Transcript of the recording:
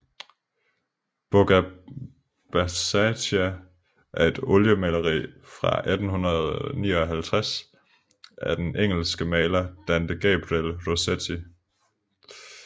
Bocca Baciata er et oliemaleri fra 1859 af den engelske maler Dante Gabriel Rossetti